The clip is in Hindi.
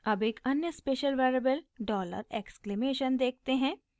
अब एक अन्य स्पेशल वेरिएबल डॉलर एक्सक्लेमेशन देखते हैं